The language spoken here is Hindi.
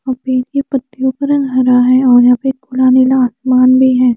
अभी के पत्तियों का रंग हरा है और यहां पे खुला नीला आसमान भी है।